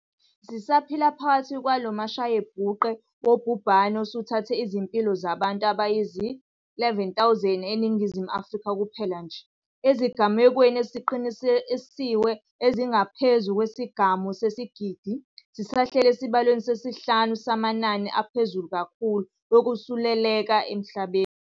Sisaphila phakathi kwalo mashayabhuqe wobhubhane osuthathe izimpilo zabantu abayizi-11 000 eNingizimu Afrika kuphela nje. Ezigamekweni eziqinisekisiwe ezingaphezu kwesigamu sesigidi, sisahleli esibalweni sesihlanu samanani aphezulu kakhulu okwesuleleka emhlabeni.